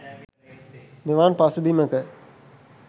මෙවන් පසුබිමක